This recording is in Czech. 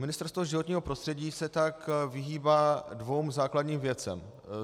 Ministerstvo životního prostředí se tak vyhýbá dvěma základním věcem.